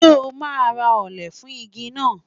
Ṣé o máa ra òǹlẹ̀ fún igi náà.